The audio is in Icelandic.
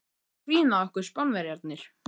Þeir gera grín að okkur, Spánverjarnir!